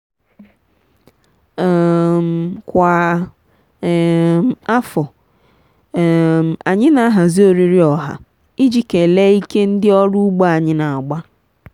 um kwa um afọ um anyị na-ahazi oriri ọha iji kelee ike ndị ọrụ ugbo anyị na-agba.